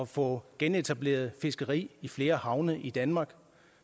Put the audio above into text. få genetableret fiskeri i flere havne i danmark